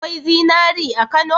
Akwai zinari a Kano?